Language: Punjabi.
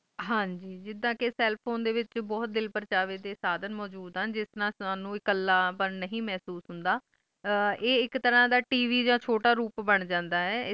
ਹਨ ਗ ਜਿੱਦਾਂ ਕ cell phone ਵਿਚ ਬਹੁਤ ਦਿਲ ਪੁਰਚਾਵੇ ਡੇ ਸਾਡੀਆਂ ਮੋਜੋੜ ਹੀਣ ਜਿਸ ਨਾਲ ਸਾਨੂੰ ਕੁੱਲਾ ਪੰਡ ਨਾਹੀ ਮਹਿਸੂਸ ਹੁੰਦਾ ਆ ਐਕ ਤਰਾਂ ਦਾ T. V ਦਾ ਛੋਟਾ ਰੂਪ ਬੰਦ ਜਾਂਦਾ ਆਈ